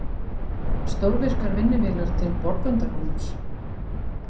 Stórvirkar vinnuvélar til Borgundarhólms